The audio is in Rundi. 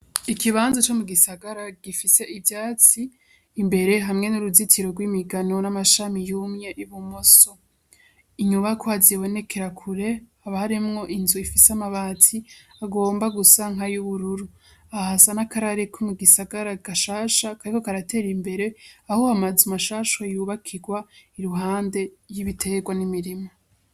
Ikibanzo co mu gisagara gifise ivyatsi imbere hamwe n'uruzitiro rw'imigano n'amashami yumye y'ubumoso inyubako azibonekera kure abaharemwo inzu ifise amabatsi agomba gusanka y'ubururu ahasa n'akarariko mu gisagara agashasha kariko karatera imbere aho hamaze umashaa asho yubakirwa iruhande ry'ibiterwa n'imirima.